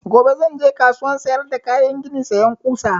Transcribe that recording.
Gobe zan je kasuwan sayar da kayan gini sayan ƙusa